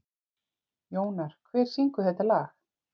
Jónar, hver syngur þetta lag?